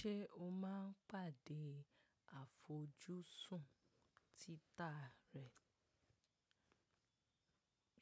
Ṣé o máa ń pàdé àfojúsùn títà rẹ?